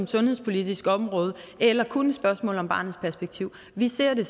sundhedspolitisk område eller kun et spørgsmål om barnets perspektiv vi ser det